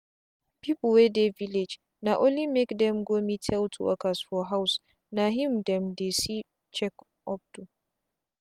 people wey dey village na only make dem go meet health workers for housena him dem dey see check up do.